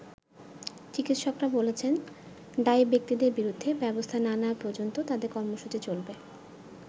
চিকিৎকরা বলেছেন, দায়ী ব্যক্তিদের বিরুদ্ধে ব্যবস্থা না নেয়া পর্যন্ত তাদের কর্মসূচি চলবে।